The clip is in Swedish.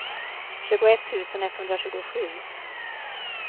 tjugoett tusen etthundratjugosju